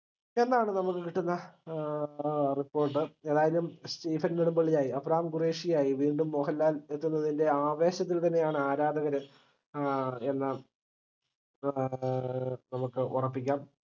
എന്നാണ് നമുക്ക് കിട്ടുന്ന ഏർ report ഏതാലും സ്റ്റീഫൻ നെടുമ്പള്ളിയായി എബ്രഹാം ഖുറൈഷിയായി വീണ്ടും മോഹൻലാൽ എത്തുന്നതിന്റെ ആവേശത്തിൽത്തന്നെയാണ് ആരാധകർ ഏർ എന്ന ആഹ് നമുക്ക് ഉറപ്പിക്കാം